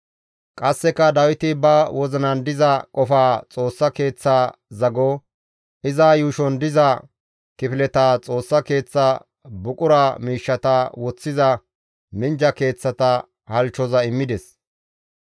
Qasseka Dawiti ba wozinan diza qofaa Xoossa Keeththa zago, iza yuushon diza kifileta, Xoossa Keeththa buqura miishshata woththiza minjja keeththata halchchoza immides.